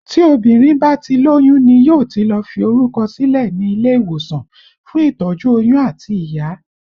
Tí obìnrin bá ti lóyún ni yóò ti lọ fi orúkọ sílẹ̀ ní ilé ìwòsàn fún ìtọ́jú oyún àti ìyá